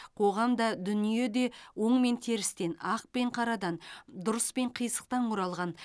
қоғам да дүние де оң мен терістен ақ пен қарадан дұрыс пен қисықтан құралған